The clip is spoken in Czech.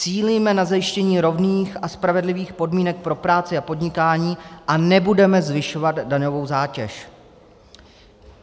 Cílíme na zajištění rovných a spravedlivých podmínek pro práci a podnikání a nebudeme zvyšovat daňovou zátěž."